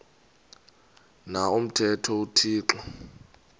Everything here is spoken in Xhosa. na umthetho uthixo